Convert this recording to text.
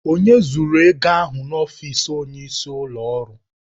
Onye zuru ego ahụ n'ọfịs onyeisi ụlọ ọrụ?